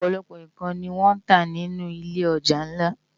Òpòlòpò n kán ni wòn tá ninú ilé òjá nlá